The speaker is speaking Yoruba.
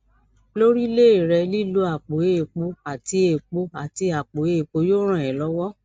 lórílé rẹ lílo àpò èèpo àti èèpo àti àpò èèpo yóò ràn é lọwọ